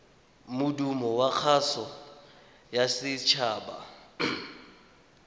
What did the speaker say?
modumo wa kgaso ya setshaba